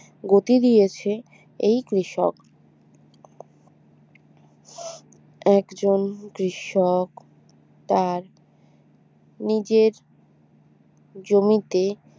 গতি দিয়েছে এই কৃষক একজন কৃষক তার নিজের জমিতে